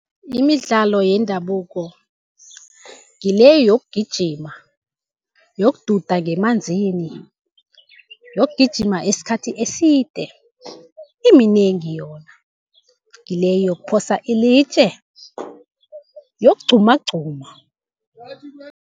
Imidlalo yendabuko ngile yokugijima, yokududa ngemanzini, yokugijima isikhathi eside. Iminengi yona, ngile yokuphosa ilitje, yokugqumagquma.